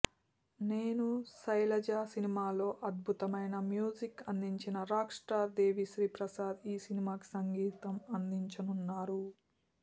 నేను శైలజ సినిమాలో అద్భుతమైన మ్యూజిక్ అందించిన రాక్ స్టార్ దేవిశ్రీ ప్రసాద్ ఈ సినిమాకి సంగీతం అందించనున్నారు